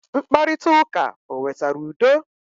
Mkparita ụka o wetara udo?